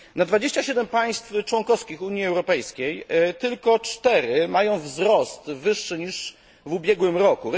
Na 27 państw członkowskich Unii Europejskiej tylko 4 mają wzrost wyższy niż w ubiegłym roku.